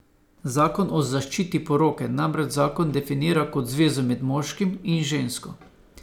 Zakon o zaščiti poroke namreč zakon definira kot zvezo med moškim in žensko.